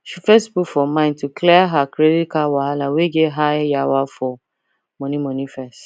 she first put for mind to clear her credit card wahala wey get high yawa for money money first